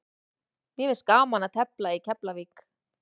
Mér finnst gaman að tefla í Keflavík.